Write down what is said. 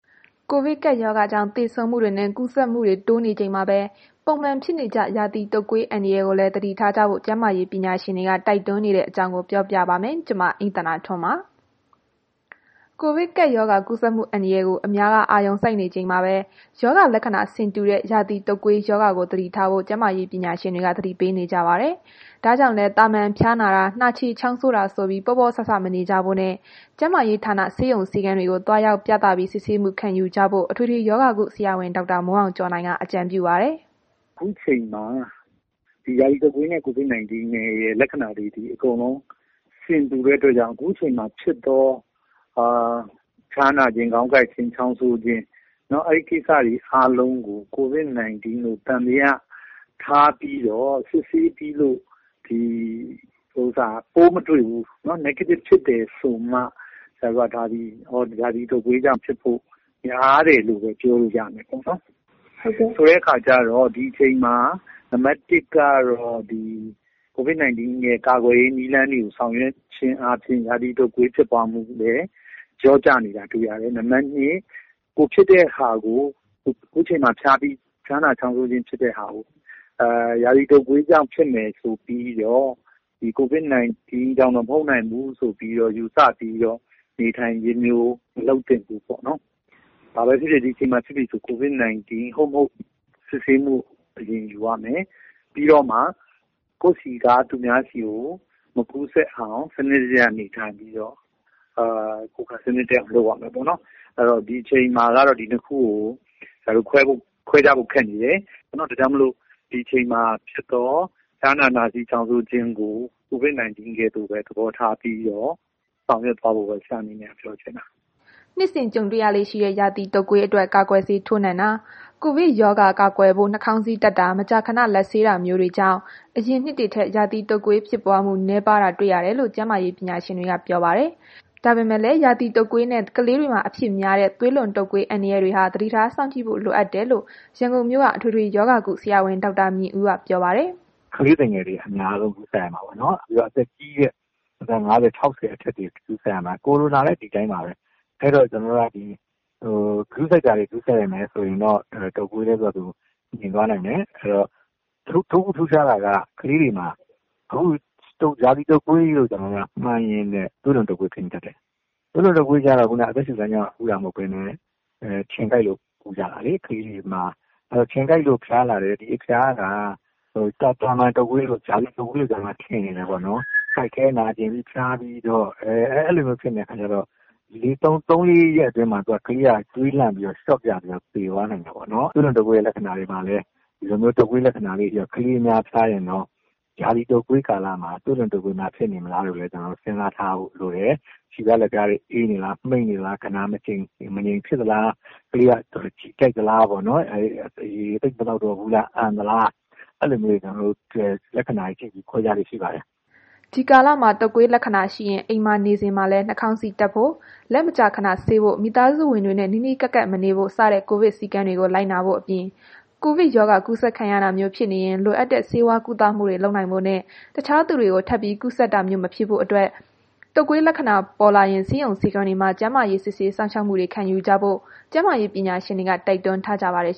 ကိုဗစ်ကပ်ရောဂါကြောင့် သေဆုံးမှုတွေနဲ့ ကူးစက်မှုတွေ တိုးနေချိန်မှာပဲ ပုံမှန်ဖြစ်နေကျ ရာသီတုပ်ကွေး အန္တရာယ်ကိုလည်း သတိထားကြဖို့ ကျန်းမာရေးပညာရှင်တွေက တိုက်တွန်းနေကြပါတယ်။ အပြည့်အစုံကို အိမ့်သန္တာထွန်းက စုစည်းတင်ပြထားပါတယ်။ ကိုဗစ်ကပ်ရောဂါ ကူးစက်မှုအန္တရာယ်ကို အများက အာရုံစိုက်နေချိန်မှာပဲ ရောဂါလက္ခဏာ ဆင်တူတဲ့ ရာသီတုပ်ကွေးရောဂါကို သတိထားဖို့ ကျန်းမာရေး ပညာရှင်တွေ သတိပေးနေကြတာပါ။ ဒါကြောင့်လည်း သာမန်ဖျားနာတာ၊ နှာချေချောင်းဆိုးတာဆိုပြီး ပေါ့ပေါ့ဆဆ မနေကြဖို့နဲ့ ကျန်းမာရေးဌာန ဆေးရုံဆေးခန်းတွေကို သွားရောက်ပြသပြီး စစ်ဆေးမှုခံယူကြဖို့ အထွေထွေရောဂါ အထူးကုဆရာဝန် ဒေါက်တာမိုးအောင်ကျော်နိုင်က အကြံပြုပါတယ်။ “ခုအချိန်မှာ ဒီ ရာသီတုပ်ကွေးနဲ့ ကိုဗစ်ရဲ့ လက္ခဏာတွေ အကုန်လုံး ဆင်တူတဲ့အတွက်ကြောင့် အခုအချိန်မှာဖြစ်သော ဖျားနာခြင်း၊ ခေါင်းကိုက်ခြင်း၊ ချောင်းဆိုးခြင်း၊ အဲ့ကိစ္စတွေအားလုံးကို ကိုဗစ်လို့ သံသယထားပြီးတော့ စစ်ဆေးပြီးတော့ ပိုးမတွေ့ဘူး၊ Negative ဖြစ်တယ်ဆိုမှ ဒါသည် ရာသီတုပ်ကွေးကြောင့် ဖြစ်ဖို့များတယ်လို့ ပြောလို့ရတာပေါ့နော်။ ဆိုတဲ့ခါကျတော့ ဒီအချိန်မှာ နံပါတ် ၁ ကတော့ COVID-19 ရဲ့ ကာကွယ်ရေးနည်းလမ်းတွေကို ဆောင်ရွက်ခြင်းအားဖြင့် ရာသီတုပ်ကွေး ဖြစ်ပွားမှုကိုလည်း လျော့ကျစေတာ တွေ့ရတယ်။ “ခုချိန်မှာ ကိုယ် ဖျားနာချောင်းဆိုးခြင်း ဖြစ်တဲ့ဟာကို ရာသီတုပ်ကွေးကြောင့်ဖြစ်မယ် ဆိုပြီးတော့ ကိုဗစ်ကြောင့် မဟုတ်နိုင်ဘူးလို့ ယူဆပြီးတော့ နေထိုင်ခြင်းမျိုး မလုပ်သင့်ဘူးပေါ့နော်။ ဘာပဲဖြစ်ဖြစ် ဒီအချိန်မှာ ကိုဗစ်ဟုတ်မဟုတ် စစ်ဆေးမှု အရင်ယူရမယ်။ ပြီးတော့မှ ကိုယ့်ဆီက သူများဆီကို မကူးစက်အောင် စနစ်တကျ နေထိုင်ပြီးတော့ ကိုယ်ခံအားကောင်းအောင် လုပ်ရမယ်ပေါ့နော်။ အဲ့တော့ ဒီအချိန်မှာ ဒါကို ခွဲခြားဖို့ခက်နေတယ်။ ဒါကြောင့်မို့လို့ ဒီအချိန်မှာဖြစ်သော ဖျားနာ နှာစေးချောင်းဆိုးခြင်းကို COVID-19 ကဲ့သို့ပဲ သဘောထားပြီးတော့ ဆောင်ရွက်ကြဖို့ပဲ ဆရာက ပြောချင်ပါတယ်။” နှစ်စဉ်ကြုံရလေ့ရှိတဲ့ ရာသီတုပ်ကွေးအတွက် ကာကွယ်ဆေးထိုးနှံတာ၊ ကိုဗစ်ကပ်ရောဂါ ကာကွယ်ဖို့ နှာခေါင်းစည်းတပ်တာ မကြာခဏ လက်ဆေးတာမျိုးတွေကြောင့် အရင်နှစ်တွေထက် ရာသီတုပ်ကွေးဖြစ်ပွားမှု နည်းပါးတာ တွေ့ရတယ်လို့လည်း ကျန်းမာရေးပညာရှင်တွေက ပြောပါတယ်။ ဒါပေမယ့်လည်း ရာသီတုပ်ကွေးနဲ့ ကလေးတွေမှာ အဖြစ်များတဲ့ သွေးလွန်တုပ်ကွေး အန္တရာယ်တွေဟာ သတိထားစောင့်ကြည့်ဖို့ လိုတယ်လို့လည်း ရန်ကုန်မြို့က အထွေထွေရောဂါကု ဆရာဝန် ဒေါက်တာမြင့်ဦးက ပြောပါတယ်။ “ကလေးသူငယ်တွေ အများဆုံး ကူးခံရတာပေါ့နော်။ လူကြီးတွေလည်း အသက် ၅၀၊ ၆၀ အထက်တွေ ကူးခံရတာ၊ ကိုရိုနာလည်း ဒီအတိုင်းပါပဲ။ အဲ့တော့ ကူးစက်မှုတွေကို ဂရုစိုက်မယ်ဆိုရင်တော့ ကူးစက်မှုတွေ လျော့သွားနိုင်တယ်။ တခုထူးခြားတာက ကလေးတွမှာ ရာသီတုပ်ကွေးလို့ မှန်းရင်းနဲ့ သွေးလွန်တုပ်ကွေး ဖြစ်နေတတ်တယ်။ သွေးလွန်တုပ်ကွေးကျေတော့ အသက်ရှူလမ်းကြောင်းကနေ ကူးတာမဟုတ်ဘဲနဲ့ ခြင်ကိုက်လို့ ကူးကြတာလေ။ ကလေးတွေမှာ ခြင်ကိုက်လို့ ဖျားလာတဲ့ အဖျားက သာမန်တုပ်ကွေး၊ ရာသီတုပ်ကွေးတို့လို ထင်နေနိုင်တယ်ပေါ့။ ကိုက်ခဲနာကျင်ဖျားပြီး အဲ့လိုဖြစ်နေတဲ့ အခါကျတော့ ဒီ သုံးလေးရက်အတွင်းမှာ ကလေးက သွေးလန့်ပြီးတော့ ရှော့ဖြစ်ပြီး သေသွားနိုင်တယ်။ သွေးလွန်တုပ်ကွေးရဲ့ လက္ခဏာတွေမှာလည်း တုပ်ကွေးလက္ခဏာလေးတွေရော ဒီလိုမျိုး ကလေးတွေဖျားရင်တော့ ရာသီတုပ်ကွေးကာလမှာ သွေးလွန်တုပ်ကွေးများ ဖြစ်နေမလားလို့လည်း စဉ်းစားထားဖို့လိုပါတယ်။ ခြေဖျားလက်ဖျားတွေ အေးသလား၊ မှိန်းနေသလား၊ ဂနာမငြိမ်ဖြစ်နေသလား၊ ကလေးက ရေသိပ်မသောက်တော့ဘူးလား၊ အန်သလား၊ အဲ့လိုမျိုး လက္ခဏာတွေနဲ့ ခွဲခြားလေ့ရှိပါတယ်။” ဒီကာလမှာ တုပ်ကွေးလက္ခဏာရှိရင် အိမ်မှာနေစဉ်မှာလည်း နှာခေါင်းစည်းတပ်ဖို့၊ လက်မကြာခဏဆေးဖို့၊ မိသားစုဝင်တွေနဲ့ နီးနီးကပ်ကပ်မနေဖို့ စတဲ့ ကိုဗစ်စည်းကမ်းတွေကို လိုက်နာဖို့အပြင် ကိုဗစ်ရောဂါ ကူးစက်ခံရတာမျိုး ဖြစ်နေရင် လိုအပ်တဲ့ ဆေးဝါးကုသမှုတွေ လုပ်နိုင်ဖို့နဲ့ တခြားသူတွေကို ထပ်ပြီး ကူးစက်တာမျိုး မဖြစ်ဖို့အတွက် တုပ်ကွေးလက္ခဏာပေါ်လာရင် ဆေးရုံဆေးခန်းတွေမှာ ကျန်းမာရေးစစ်ဆေးမှု ခံယူကြဖို့ ကျန်းမာရေးပညာရှင်တွေက တိုက်တွန်းထားကြပါတယ်